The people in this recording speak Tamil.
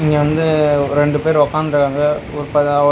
இங்க வந்து ஒரு ரெண்டு பேரு ஒக்காந்துருங்காங்க ஒர் பயா --